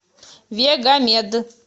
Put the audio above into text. вегамед